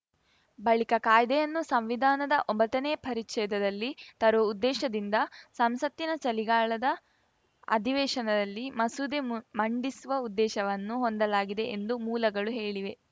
ಬಳಿಕ ಕಾಯ್ದೆಯನ್ನು ಸಂವಿಧಾನದ ಒಂಬತ್ತನೇ ಪರಿಚ್ಛೇದದಲ್ಲಿ ತರುವ ಉದ್ದೇಶದಿಂದ ಸಂಸತ್ತಿನ ಚಳಿಗಾಲದ ಅಧಿವೇಶನದಲ್ಲಿ ಮಸೂದೆ ಮು ಮಂಡಿಸುವ ಉದ್ದೇಶವನ್ನು ಹೊಂದಲಾಗಿದೆ ಎಂದು ಮೂಲಗಳು ಹೇಳಿವೆ